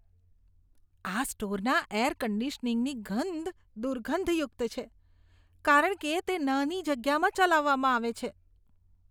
આ સ્ટોરના એર કન્ડીશનીંગની ગંધ દુર્ગંધયુક્ત છે કારણ કે તે નાની જગ્યામાં ચલાવવામાં આવે છે.